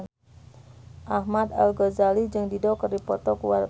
Ahmad Al-Ghazali jeung Dido keur dipoto ku wartawan